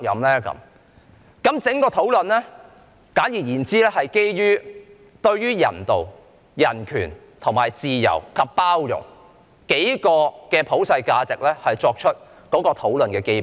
簡而言之，在整個討論中，我們是基於人道、人權、自由及包容等數個普世價值為討論的基本。